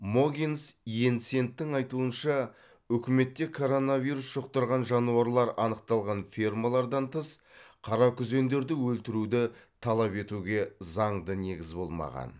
могенс йенсентің айтуынша үкіметте коронавирус жұқтырған жануарлар анықталған фермалардан тыс қаракүзендерді өлтіруді талап етуге заңды негіз болмаған